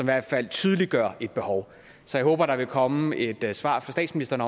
hvert fald tydeliggør et behov så jeg håber der vil komme et svar fra statsministeren